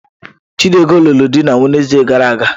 Chidigo lụrụ di na Wenezde gara aga.